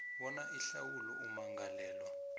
bona ihlawulo ummangalelwa